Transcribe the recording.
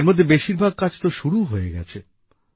এর মধ্যে বেশিরভাগ কাজ তো শুরুও হয়ে গেছে